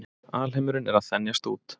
Alheimurinn er að þenjast út.